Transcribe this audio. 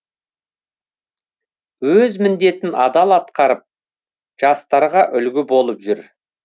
өз міндетін адал атқарып жастарға үлгі болып жүр